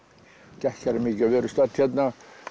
gekk hér mikið við erum stödd hérna